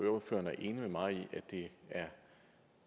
ordføreren er enig med mig i at det